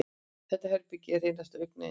Þetta herbergi er hreinasta augnayndi.